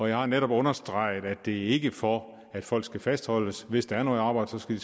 jeg har netop understreget at vi ikke er for at folk skal fastholdes hvis der er noget arbejde så skal